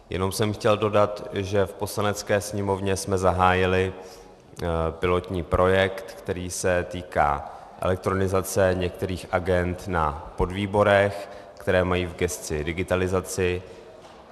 Jenom jsem chtěl dodat, že v Poslanecké sněmovně jsme zahájili pilotní projekt, který se týká elektronizace některých agend, na podvýborech, které mají v gesci digitalizaci.